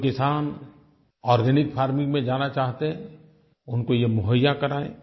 जो किसान organic farming में जाना चाहते हैं उनको ये मुहैया कराएँ